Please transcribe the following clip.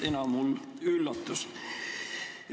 Ena mul üllatus!